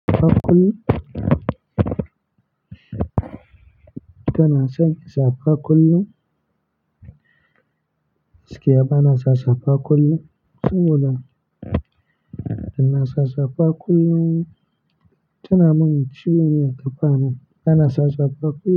Ka na sanya safa kullum? Gaskiya bana sa safa kullum saboda tana mun ciwo ne a ƙafa na. Ba na sa safa kullum.